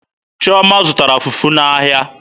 Chioma zụtara fufu n'ahịa.